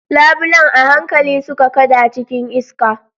Labulen a hankali suka kada cikin iska.